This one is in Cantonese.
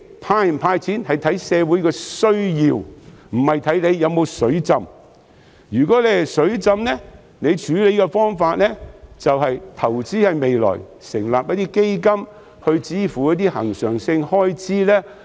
"派錢"與否應視乎社會的需要，而不是視乎是否"水浸"；如果"水浸"，處理方法應該是投資未來，成立基金以支付一些恆常性開支。